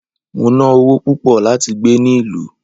Mo ná ọwó púpò lati gbé ni ìlú